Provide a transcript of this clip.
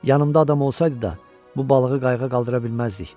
Yanımda adam olsaydı da, bu balığı qayığa qaldıra bilməzdik.